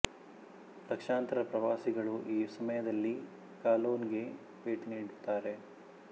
ಲಕ್ಷಾಂತರ ಪ್ರವಾಸಿಗಳು ಈ ಸಮಯದಲ್ಲಿ ಕಲೋನ್ ಗೆ ಭೇಟಿ ನೀಡುತ್ತಾರೆ